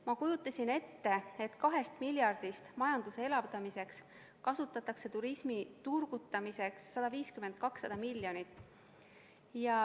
Ma kujutasin ette, et 2 miljardist majanduse elavdamiseks mõeldud rahast kasutatakse turismi turgutamiseks 150–200 miljonit.